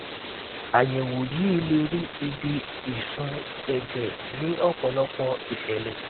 àyẹwò yìí lè rí ibi ìṣun ẹjẹ ní ọpọlọpọ ìṣẹlẹ